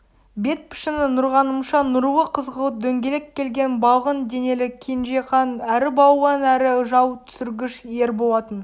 бет пішіні нұрғанымша нұрлы қызғылт дөңгелек келген балғын денелі кенжеқан әрі балуан әрі жау түсіргіш ер болатын